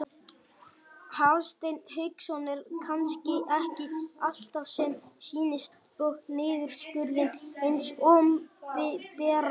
Hafsteinn Hauksson: Er kannski ekki allt sem sýnist í niðurskurði hins opinbera?